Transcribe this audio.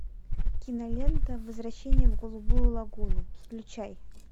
кинолента возвращение в голубую лагуну включай